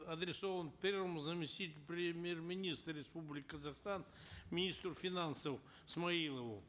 адресован первому заместителю премьер министра республики казахстан министру финансов смаилову